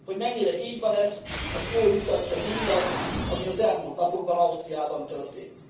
Hogy mennyire így van ez, azt jól mutatja mindaz, ami az elmúlt napokban Ausztriában történt.